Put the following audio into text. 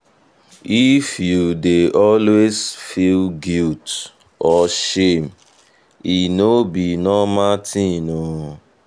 um if you dey always feel guilt or shame e no be um normal thing o.